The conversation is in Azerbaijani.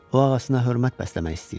O ağasına hörmət bəsləmək istəyirdi.